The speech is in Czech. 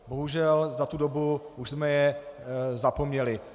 Bohužel, za tu dobu už jsme je zapomněli.